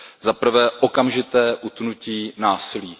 Za prvé okamžité utnutí násilí.